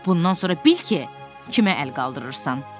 Bundan sonra bil ki, kimə əl qaldırırsan.